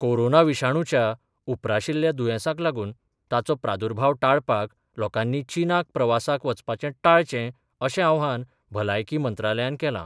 Corona विशाणूच्या उप्राशिल्ल्या दुयेंसाक लागून ताचो प्रादुर्भाव टाळपाक लोकांनी चीनाक प्रवासाक वचपाचें टाळचें अशें आवाहन भलायकी मंत्रालायान केलां.